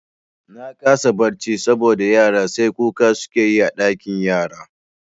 Na kasa barci saboda yara sai kuka suke yi a ɗakin yara